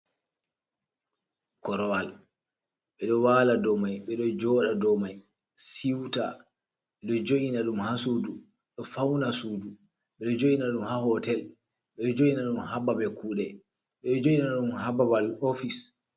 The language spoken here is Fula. Korowal ɓedo wala do mai, ɓedo joda do mai siuta, ɓedo jo’ina ɗum ha sudu, ɗo fauna sudu, ɓeɗo joina ɗum ha hotel, ɓedo joina ɗum hababe kude, ɓedo joina dum hababal office.